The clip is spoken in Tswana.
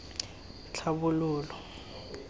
tlhabololo